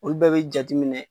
Olu bɛɛ be jateminɛ